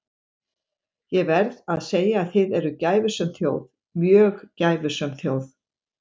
Ég verð að segja að þið eruð gæfusöm þjóð, mjög gæfusöm þjóð.